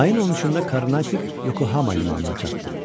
Ayın 13-də Karnatik Yokohama limanına çatdı.